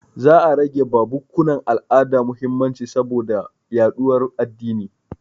Za a rage ba bukkunan al'ada mahimmanci saboda yaɗuwar addini.